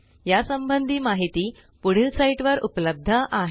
या संबंधी माहिती पुढील साईटवर उपलब्ध आहे